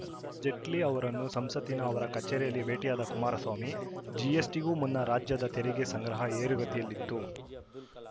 ಜೇಟ್ಲಿ ಅವರನ್ನು ಸಂಸತ್ತಿನ ಅವರ ಕಚೇರಿಯಲ್ಲಿ ಭೇಟಿಯಾದ ಕುಮಾರಸ್ವಾಮಿ ಜಿಎಸ್‌ಟಿಗೂ ಮುನ್ನ ರಾಜ್ಯದ ತೆರಿಗೆ ಸಂಗ್ರಹ ಏರುಗತಿಯಲ್ಲಿತ್ತು